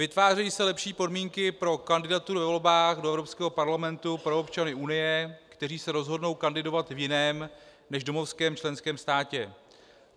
Vytvářejí se lepší podmínky pro kandidaturu ve volbách do Evropského parlamentu pro občany Unie, kteří se rozhodnou kandidovat v jiném než domovském členském státě.